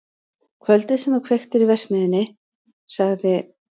Kvöldið sem þú kveiktir í verksmiðjunni- sagði